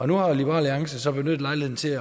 nu har liberal alliance så benyttet lejligheden til